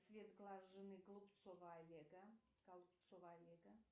цвет глаз жены голубцова олега голубцова олега